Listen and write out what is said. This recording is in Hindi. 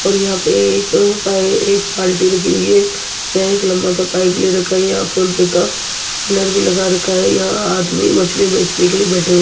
और यहां पे एक ब एक बाल्टी रखी हुई है यहां एक लंबा सा पाइप ले रखा है यहां फोनपे का बैनर भी लगा रखा है यहां आदमी मछली बेचने के लिए बैठे हुए --